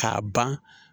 K'a ban